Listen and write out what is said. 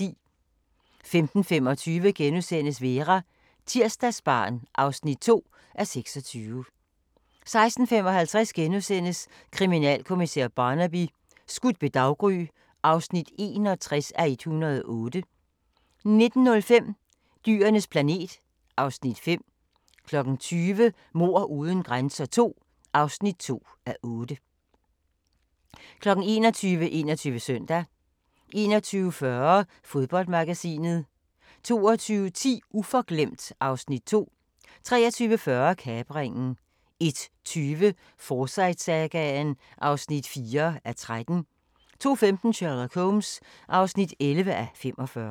15:25: Vera: Tirsdagsbarn (2:26)* 16:55: Kriminalkommissær Barnaby: Skudt ved daggry (61:108)* 19:05: Dyrenes planet (Afs. 5) 20:00: Mord uden grænser II (2:8) 21:00: 21 Søndag 21:40: Fodboldmagasinet 22:10: Uforglemt (Afs. 2) 23:40: Kapringen 01:20: Forsyte-sagaen (4:13) 02:15: Sherlock Holmes (11:45)